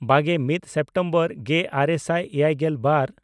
ᱵᱟᱜᱮᱼᱢᱤᱫ September ᱜᱮᱼᱟᱨᱮ ᱥᱟᱭ ᱮᱭᱟᱭᱜᱮᱞ ᱵᱟᱨ